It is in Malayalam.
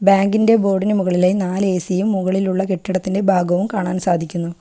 ബാങ്ക് ഇൻ്റെ ബോർഡിനു മുകളിലായി നാല് ഏ_സിയും മുകളിലുള്ള കെട്ടിടത്തിന്റെ ഭാഗവും കാണാൻ സാധിക്കുന്നു.